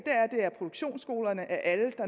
er at produktionsskolerne af alle